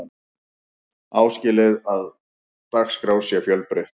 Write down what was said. áskilið er að dagskrá sé fjölbreytt